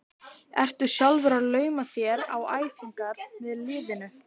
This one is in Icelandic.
Ertu sjálfur að lauma þér á æfingar með liðinu?